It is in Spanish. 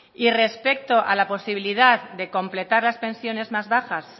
y respecto a la posibilidad de completar las pensiones más bajas